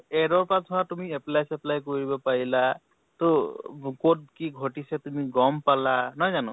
add ৰ পৰা ধৰা তুমি apply চেপ্লাই কৰিব পাৰিলা । তʼ globe ত কি ঘটিছে, তুমি গʼম পালা, নহয় জানো ?